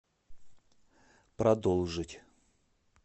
продолжить